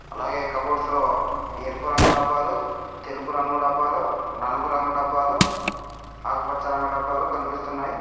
అలాగే కబోర్డ్స్ లో ఎరుపు రంగు డబ్బాలు తెలుపు రంగు డబ్బాలు నలుపు రంగు డబ్బాలు ఆకుపచ్చ రంగు డబ్బాలు కనిపిస్తున్నాయి.